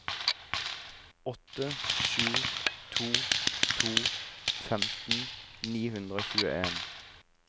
åtte sju to to femten ni hundre og tjueen